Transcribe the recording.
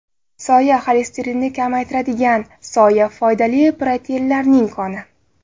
Soya Xolesterinni kamaytiradigan soya, foydali proteinlarning koni.